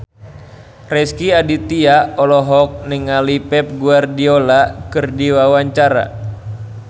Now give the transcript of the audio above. Rezky Aditya olohok ningali Pep Guardiola keur diwawancara